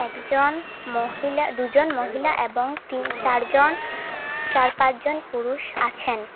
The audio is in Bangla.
একজন মহিলা দুজন মহিলা এবং তিন চারজন চার পাঁচজন পুরুষ আছেন।